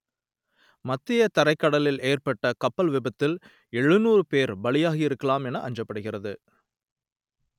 மத்திய தரைக்கடலில் ஏற்பட்ட கப்பல் விபத்தில் எழுநூறு பேர் பலியாகியிருக்கலாம் என அஞ்சப்படுகிறது